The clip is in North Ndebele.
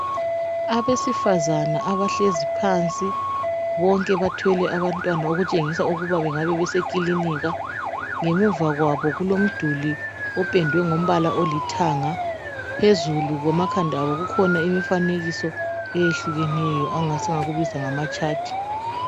Abesifazana abahlezi phansi. Bonke bathwele abantwana. Okutshengisa ukuba bangabe besekilinika. Ngemuva kwabo kulomduli opendwe ngombala olithanga. Phezulu kwamakhanda abo, kukhona imifanekiso, eyehlukeneyo. Esingakubiza, ngamatshathi.